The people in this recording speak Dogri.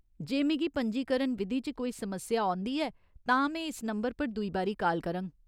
जे मिगी पंजीकरण विधी च कोई समस्या औंदी ऐ, तां में इस नंबर पर दुई बारी काल करङ।